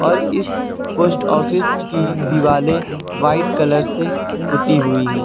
और इस post office की दिवालें व्हाइट कलर से पुती हुई हैं।